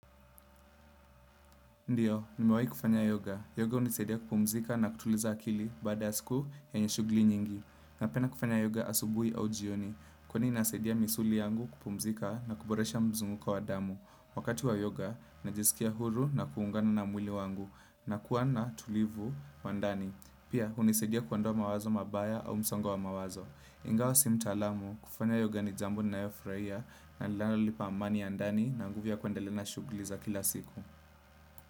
Ndiyo, nimewai kufanya yoga. Yoga unisaidia kupumzika na kutuliza akili baada siku yenye shugli nyingi. Napenda kufanya yoga asubui au jioni, kwani inasaidia misuli yangu kupumzika na kuboresha mzunguko wa damu. Wakati wa yoga, najisikia huru na kuungana na mwili wangu, nakua na tulivu wa ndani. Pia, unisaidia kuondoa mawazo mabaya au msongo wa mawazo. Ingawa si mtaalamu, kufanya yoga ni jambu ninayo furahia na lanalo nipa amani ya ndani na nguvu ya kuendalea na shugli za kila siku.